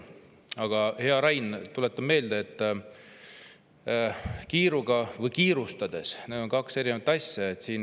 Aga, hea Rain, tuletan meelde, et kiiruga ja kiirustades on kaks erinevat asja.